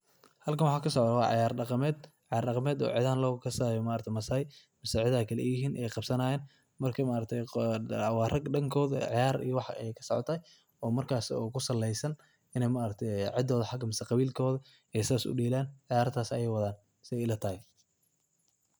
Halkan waxa kasocdah ceeyar daqameet ceeyar daqameet oo cetha lagu aqaano ee maaragtay maassai ceeyar eeyahin qabsanayin marka maargtahay wa raag waxat ega sicotahay markaso oo kusaleeysan Ina maaragtay ceedotha Aya u dalan Aya arintan sethasi ilatahay.